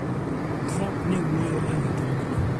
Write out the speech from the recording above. Trump ne wuoyo ewi twagno